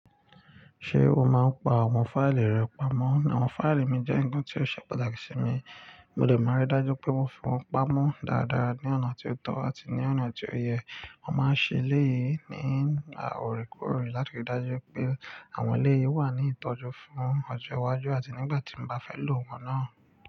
Ṣé o máa ń pa àwọn fáìlì rẹ pamọ́? Àwọn fáìlì mi jẹ́ ń kan tí ó ṣe pàtàkì sí mi, mo lè máa rí dájú pé mo fi wọ́n pamọ́ dáadáa ní ọ̀nà tí ó tọ́ àti ní ọ̀nà tí ó yẹ. Mo máa ń ṣe eleyìí ní òòrèkòòrè láti rí dájú pé àwọn ẹléyìí wà ní ìtọ́jú fún ọjọ́ iwájú àti nígbà tí mo bá fẹ́ lò wọ́n náà.